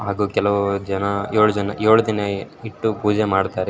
ಹಾಗು ಕೆಲೋ ಜನ ಏಳ್ ಜನ ಏಳ್ ದಿನ ಇಟ್ಟು ಪೂಜೆ ಮಾಡ್ತಾರೆ.